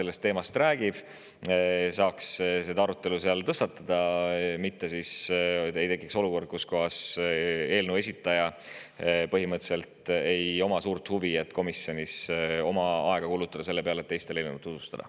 Siis oleks saanud selle arutelu tõstatada, mitte ei oleks tekkinud olukord, et eelnõu esitajal põhimõtteliselt ei ole suurt huvi kulutada komisjonis oma aega selle peale, et teistele eelnõu tutvustada.